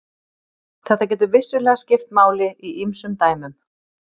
Þetta getur vissulega skipt máli í ýmsum dæmum.